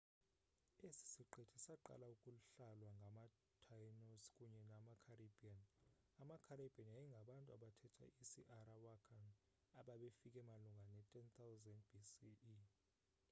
esi siqithi saqala ukuhlalwa ngamataínos kunye namacaribbean. amacaribbean yayingabantu abathetha isiarawakan ababefike malunga ne-10 000 bce